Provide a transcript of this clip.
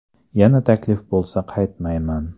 Yana taklif bo‘lsa qaytmayman.